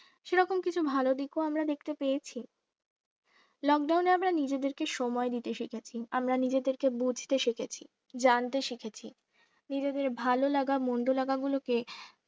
সেরকম কিছু ভালো দেখেও আমরা দেখতে পেয়েছি lockdown এ আমরা নিজেদেরকে সময় দিতে শিখেছি, আমরা নিজেদেরকে বুঝতে শিখেছি, জানতে শিখেছি নিজেদের ভালোলাগা মন্দলাগা গুলোকে